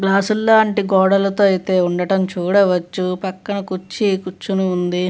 గ్లాసుల్లాంటి గోడలతో అయితే ఉండడం చూడవచ్చు. పక్కన కుర్చీ కూర్చొని ఉంది.